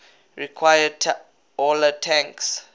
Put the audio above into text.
require taller tanks